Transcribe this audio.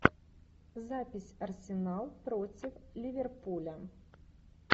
запись арсенал против ливерпуля